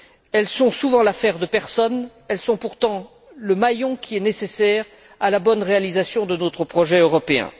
Elles sont souvent l'affaire de personne, elles sont pourtant le maillon qui est nécessaire à la bonne réalisation de notre projet européen.